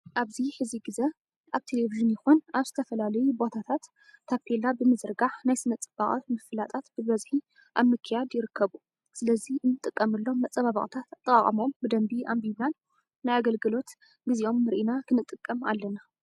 ኣብዚ ሕዚ ግዘ ኣብ ቴሌቭዥን ይኹን ኣብ ዝተፈላለዩ ቦታታት ታቤላ ብምዝርጋሕ ናይ ስነ ፅባቀ ምፍላጣት በበዝሒ ኣብ ምክያድ ይርከቡ። ስለዚ እንጥቀመሎም መፀባበቅታት ኣጠቃቅመኦም ብደንቢ ኣንቢብናን ናይ ኣገልግሎት ግዚኦም ርኢና ክንጥቀም ኣለና።